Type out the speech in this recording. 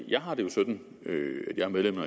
jeg har det jo sådan at jeg er medlem af